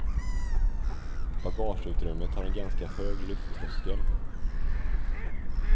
Bagageutrymmet har en ganska hög lyfttröskel.